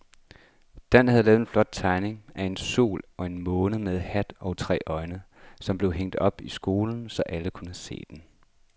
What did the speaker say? Dan havde lavet en flot tegning af en sol og en måne med hat og tre øjne, som blev hængt op i skolen, så alle kunne se den.